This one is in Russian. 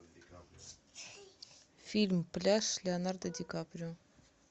фильм пляж с леонардо ди каприо